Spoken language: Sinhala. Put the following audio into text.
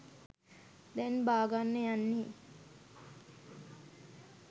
දැන් බාගන්න යන්නේ.